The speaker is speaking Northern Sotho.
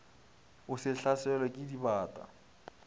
o se hlaselwe ke dibata